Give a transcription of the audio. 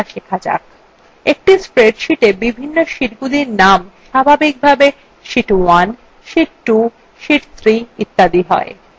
একটি spreadsheeta বিভিন্ন শীটগুলির named স্বাভাবিকভাবে sheet 1 sheet 2 sheet 3 ইত্যাদি হয়